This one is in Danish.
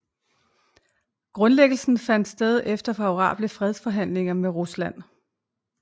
Grundlæggelsen fandt sted efter favorable fredsforhandlinger med Rusland